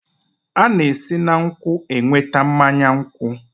A na-esi na nkwụ enweta mmanya nkwụ